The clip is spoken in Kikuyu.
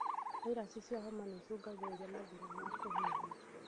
Viraci cia homa nĩicũngagĩrĩria mathĩna ma kũhihia